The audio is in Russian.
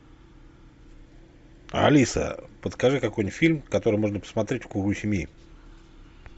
алиса подскажи какой нибудь фильм который можно посмотреть в кругу семьи